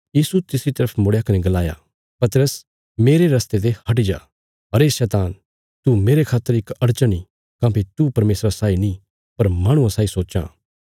यीशु तिसरी तरफ मुड़या कने गलाया पतरस मेरे रस्ते ते हटि जा अरे शैतान तू मेरे खातर इक अड़चन ई काँह्भई तू परमेशरा साई नीं पर माहणुआं साई सोच्चां